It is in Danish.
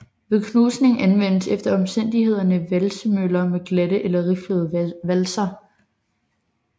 Ved knusning anvendes efter omstændighederne valsemøller med glatte eller riflede valser